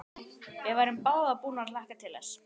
Við værum báðar búnar að hlakka til þess.